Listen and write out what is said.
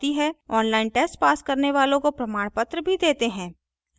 online test pass करने वालों को प्रमाणपत्र भी देते हैं